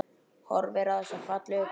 Horfir á þessa fallegu krukku.